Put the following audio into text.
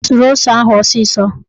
O suru ose ahụ ọsịsọ